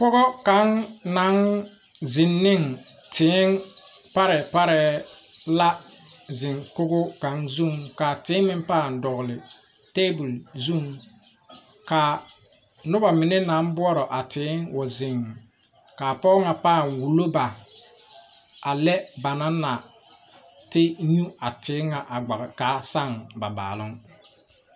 Pɔgɔ kaŋ naŋ zeŋ neŋ tēē parɛɛ parɛɛ la zeŋ kogo kaŋ zuŋ kaa tēē pãã dɔgle tabol zuŋ kaa nobɔ mine naŋ buorɔ a tēē wa zeŋ kaa pɔg ŋa pãã wullo ba a lɛ ba naŋ na te nyu a tēē ŋa a gbɔge kaa saŋ ba baaloŋ.